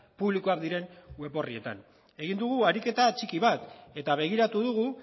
publikoak diren web orrietan egin dugu ariketa txiki bat eta begiratu dugu